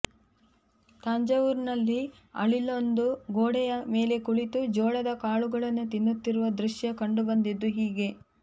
ತಾಂಜಾವೂರ್ ನಲ್ಲಿ ಅಳಿಲೊಂದು ಗೋಡೆಯ ಮೇಲೆ ಕುಳಿತು ಜೋಳದ ಕಾಳುಗಳನ್ನು ತಿನ್ನುತ್ತಿರುವ ದೃಶ್ಯ ಕಂಡುಬಂದಿದ್ದು ಹೀಗೆ